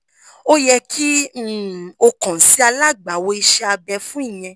o yẹ ki um o kan si alagbawo ise abe fun iyẹn